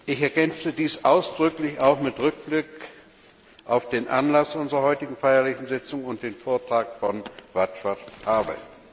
Ich ergänze dies ausdrücklich auch mit Rückblick auf den Anlass unserer heutigen feierlichen Sitzung und den Vortrag von Václav Havel.